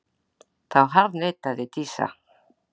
Þá harðneitaði Dísa.